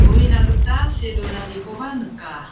uina gita see donanikoba nika.